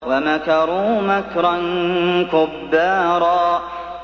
وَمَكَرُوا مَكْرًا كُبَّارًا